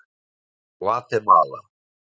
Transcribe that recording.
Gvatemala